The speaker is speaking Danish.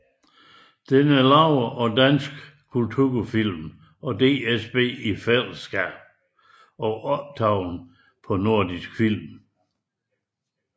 Den er produceret af Dansk Kulturfilm og DSB i fællesskab og optaget af Nordisk Film